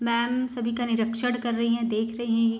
Ma'am सभी का निरीक्षण कर रही हैं देख रही हैं।